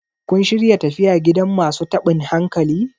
kun shirya tafiya gidan masu tabin hankali?